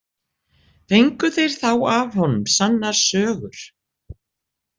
Fengu þeir þá af honum sannar sögur.